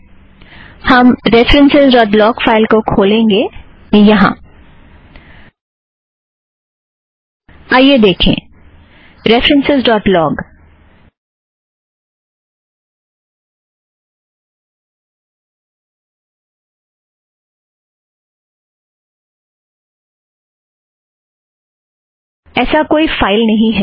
आइए देखें - references dot log - ऐसा कोई फ़ाइल नहीं